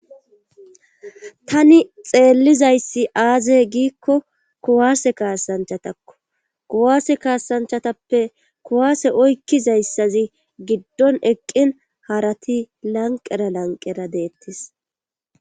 tani xeellizayssi aazee giikko kuwaase kaasanchatakko kuwaase kaasanchatappe kuwaase oykkizayssazi giddon eqqin harati lanqera lanqera deettis